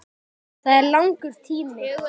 Það er langur tími.